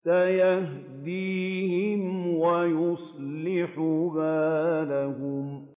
سَيَهْدِيهِمْ وَيُصْلِحُ بَالَهُمْ